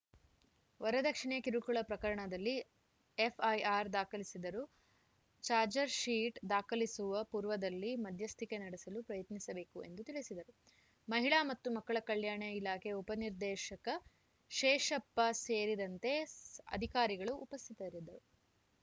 ವರದಕ್ಷಿಣೆ ಕಿರುಕುಳ ಪ್ರಕರಣದಲ್ಲಿ ಎಫ್‌ಐಆರ್‌ ದಾಖಲಿಸಿದರೂ ಚಾಜ್‌ರ್‍ಶೀಟ್‌ ದಾಖಲಿಸುವ ಪೂರ್ವದಲ್ಲಿ ಮಧ್ಯಸ್ಥಿಕೆ ನಡೆಸಲು ಪ್ರಯತ್ನಿಸಬೇಕು ಎಂದು ತಿಳಿಸಿದರು ಮಹಿಳಾ ಮತ್ತು ಮಕ್ಕಳ ಕಲ್ಯಾಣ ಇಲಾಖೆ ಉಪನಿರ್ದೇಶಕ ಶೇಷಪ್ಪ ಸೇರಿದಂತೆ ಅಧಿಕಾರಿಗಳು ಉಪಸ್ಥಿತರಿದ್ದರು